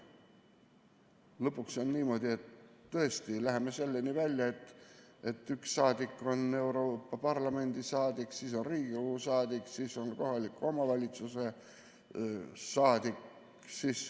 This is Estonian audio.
Lõpuks on niimoodi, et me tõesti läheme selleni välja, et üks inimene on Euroopa Parlamendi saadik, Riigikogu saadik ja ka kohaliku omavalitsuse saadik.